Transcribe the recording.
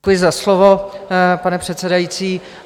Děkuji za slovo, pane předsedající.